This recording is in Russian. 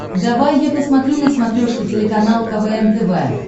давай я посмотрю на смотрешке телеканал квн тв